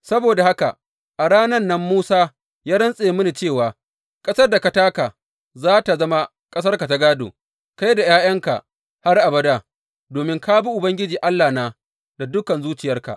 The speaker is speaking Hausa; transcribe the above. Saboda haka a ranan nan Musa ya rantse mini cewa, Ƙasar da ka taka za tă zama ƙasarka ta gādo kai da ’ya’yanka har abada, domin ka bi Ubangiji Allahna da dukan zuciyarka.’